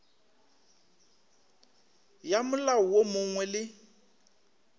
ya molao wo mongwe le